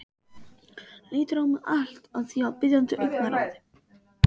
Lítur á mig allt að því biðjandi augnaráði.